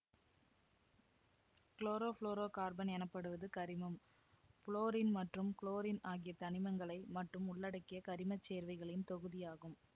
chlorofluorocarbon எனப்படுவது கரிமம் fluorine மற்றும் குளோரின் ஆகிய தனிமங்களை மட்டும் உள்ளடக்கிய கரிம சேர்வைகளின் தொகுதியாகும்